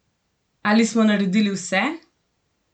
Ali smo naredili vse?